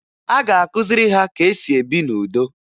A ga-akụziri ha ka e si ebi n'udo